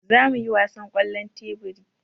Za mu yi wasan ƙwallon teburi.